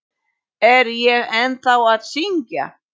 Er ég ennþá að syngja?